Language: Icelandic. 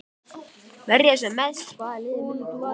Verja sem mest Hvaða liði myndir þú aldrei spila með?